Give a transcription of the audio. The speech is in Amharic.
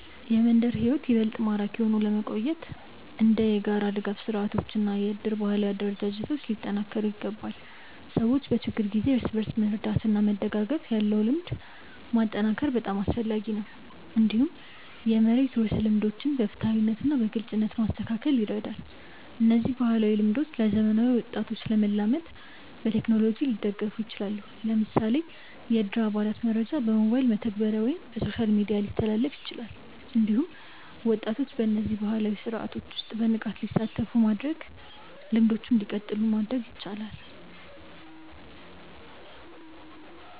የመንደር ሕይወት ይበልጥ ማራኪ ሆኖ ለመቆየት እንደ የጋራ ድጋፍ ስርዓቶች እና የእድር ባህላዊ አደረጃጀቶች ሊጠናከሩ ይችላሉ። ሰዎች በችግር ጊዜ እርስ በርስ መርዳት እና መደጋገፍ ያለው ልምድ ማጠናከር በጣም አስፈላጊ ነው። እንዲሁም የመሬት ውርስ ልምዶችን በፍትሃዊነት እና በግልጽነት ማስተካከል ይረዳል። እነዚህ ባህላዊ ልምዶች ለዘመናዊ ወጣቶች ለመላመድ በቴክኖሎጂ ሊደገፉ ይችላሉ። ለምሳሌ የእድር አባላት መረጃ በሞባይል መተግበሪያ ወይም በሶሻል ሚዲያ ሊተላለፍ ይችላል። እንዲሁም ወጣቶች በእነዚህ ባህላዊ ስርዓቶች ውስጥ በንቃት እንዲሳተፉ በማድረግ ልምዶቹ እንዲቀጥሉ ሊደረግ ይችላል።